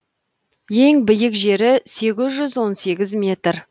ең биік жері сегіз жүз он сегіз метр